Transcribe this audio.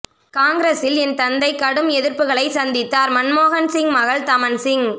காங்கிரசில் என் தந்தை கடும் எதிர்ப்புகளை சந்தித்தார் மன்மோகன்சிங் மகள் தமன் சிங்